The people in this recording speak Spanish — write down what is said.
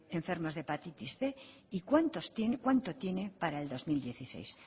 enfermos de hepatitis cien y cuánto tiene para el dos mil dieciséis